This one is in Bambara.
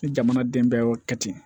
Ni jamana den bɛɛ y'o kɛ ten